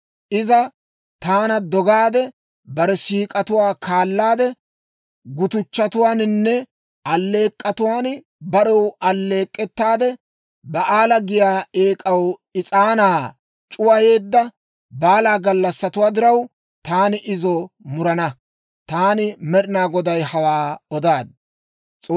Iza taana dogaade, bare siik'atuwaa kaalaadde, gutuchchatuwaaninne alleek'k'otuwaan barew alleek'k'ettaade, Ba'aala giyaa eek'aw is'aanaa c'uwayeedda baala gallassatuwaa diraw, taani izo murana. Taani Med'inaa Goday hawaa odaad.